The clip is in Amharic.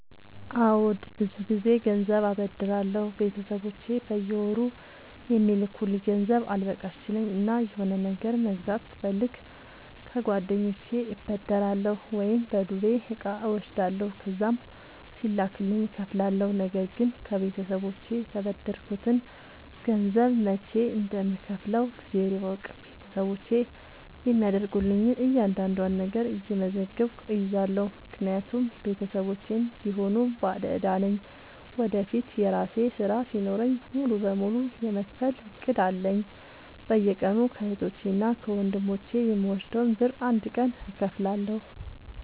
አዎድ ብዙ ግዜ ገንዘብ አበደራለሁ ቤተሰቦቼ በየወሩ የሚልኩልኝ ገንዘብ አልበቃሽ ሲለኝ እና የሆነ ነገር መግዛት ስፈልግ ከጓደኞቼ እበደራለሁ። ወይም በዱቤ እቃ እወስዳለሁ ከዛም ሲላክልኝ እከፍላለሁ። ነገርግን ከቤተሰቦቼ የተበደርከትን ገንዘብ መች እንደም ከውፍለው እግዜር ይወቅ ቤተሰቦቼ የሚያደርጉልኝን እያንዳዷን ነገር እየመዘገብኩ እይዛለሁ። ምክንያቱም ቤተሰቦቼም ቢሆኑ ባለዳ ነኝ ወደፊት የራሴ ስራ ሲኖረኝ ሙሉ በሙሉ የመክፈል እቅድ አለኝ። በየቀኑ ከህቶቼ እና ከወንድሞቼ የምወስደውን ብር አንድ ቀን እከፍላለሁ።